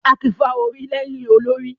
Áà kí n fà orí lẹ́yìn olórí